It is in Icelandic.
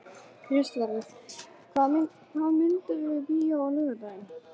Kristvarður, hvaða myndir eru í bíó á laugardaginn?